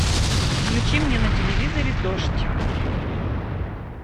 включи мне на телевизоре дождь